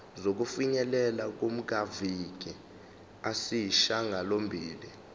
sokufinyelela kumaviki ayisishagalombili